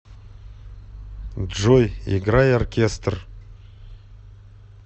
джой играй оркестр